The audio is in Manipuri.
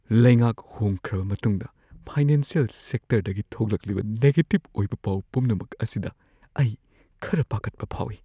ꯂꯩꯉꯥꯛ ꯍꯣꯡꯈ꯭ꯔꯕ ꯃꯇꯨꯡꯗ ꯐꯥꯏꯅꯥꯟꯁꯤꯌꯦꯜ ꯁꯦꯛꯇꯔꯗꯒꯤ ꯊꯣꯛꯂꯛꯂꯤꯕ ꯅꯦꯒꯦꯇꯤꯕ ꯑꯣꯏꯕ ꯄꯥꯎ ꯄꯨꯝꯅꯃꯛ ꯑꯁꯤꯗ ꯑꯩ ꯈꯔ ꯄꯥꯈꯠꯄ ꯐꯥꯎꯏ꯫